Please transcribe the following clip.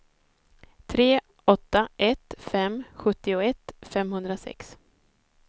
tre åtta ett fem sjuttioett femhundrasex